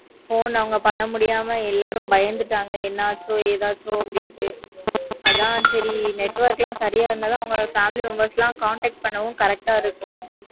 phone அவங்க பண்ண முடியாம எல்லாரும் பயந்திட்டாங்க என்னாச்சோ ஏதாச்சோ network லாம் சரியா இருந்தா தான் family members எல்லாம் contact பண்ணவும் different ஆஹ் இருக்கும்.